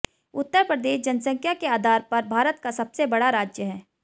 उत्तर प्रदेश जनसंख्या के आधार पर भारत का सबसे बड़ा राज्य है